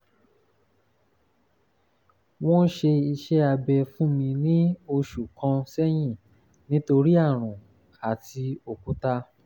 wọ́n ṣe iṣẹ́ abẹ fún mi ní òṣù kan sẹ́yìn nítorí àrùn àti òkúta